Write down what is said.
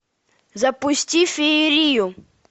запусти феерию